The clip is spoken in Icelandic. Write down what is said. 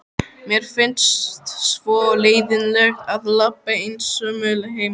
Mér finnst svo leiðinlegt að labba einsömul heim.